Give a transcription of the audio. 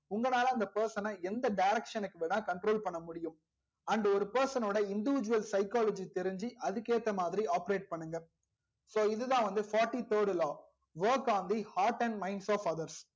உங்க லால அந்த person ன எந்த direction க்கு வேணாலும் control பண்ண முடியும் and ஒரு person ஓட individual pshychology தெரிஞ்சி அதுக்கு ஏத்தா மாதிரி operate பண்ணுங்க so இதுதா வந்து fourty third law work on the heart and minds of others